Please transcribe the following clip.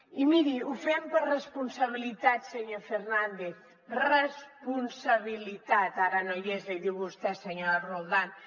i miri ho fem per responsabilitat senyor fernández responsabilitat ara no hi és li diu vostè senyora roldán